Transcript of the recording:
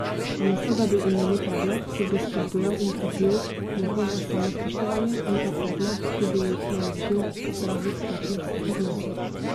Namesto da bi imeli predmet, ki bi spodbujal in krepil njihovo samospoštovanje, ali pa predmet, ki bi jih naučil zdravih partnerskih odnosov.